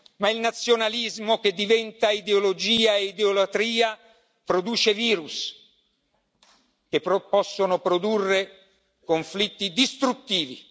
Ma il nazionalismo che diventa ideologia e idolatria produce virus, che possono produrre conflitti distruttivi.